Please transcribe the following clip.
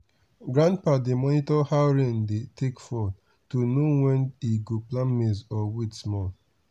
grandpa dey monitor how rain dey take fall to know when e go plant maize or wait small.